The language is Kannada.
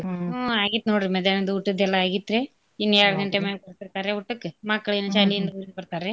ಹ್ಮ್ ಆಗೀತ್ ನೋಡ್ರೀ ಮದ್ಯಾನದ್ ಊಟದ್ದೆಲ್ಲಾ ಆಗೇತ್ರ್ಯಾ ಇನ್ ಯಾರ್ಡ್ ಗಂಟೆ ಮ್ಯಾಗ್ ಬರ್ತಿರ್ತಾರ್ಯಾ ಊಟಕ್ಕ ಮಕ್ಳೇನ್ ಶಾಲಿ ಬರ್ತಾರ್ರಿ.